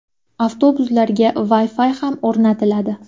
Avtobuslarga Wi-Fi ham o‘rnatiladi.